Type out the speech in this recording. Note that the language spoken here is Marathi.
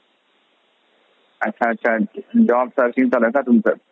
अच्छा अच्छा. job searching चालू आहे का तुमचं?